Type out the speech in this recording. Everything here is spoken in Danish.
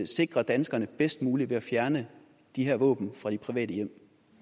sikre danskerne bedst muligt ved at fjerne de her våben fra de private hjem